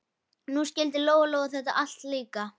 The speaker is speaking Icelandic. Og nú skildi Lóa-Lóa þetta allt líka.